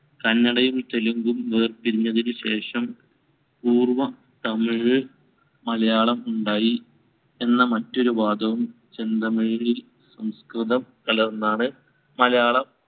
കന്നഡയും തെലുങ്കും വേർപിരിഞ്ഞതിനുശേഷം പൂർവ്വതമിഴ് മലയാളം ഉണ്ടായി എന്ന മറ്റൊരു വാദവും ചെന്തമിഴിൽ സംസ്‌കൃതം കലർന്നാണ് മലയാളം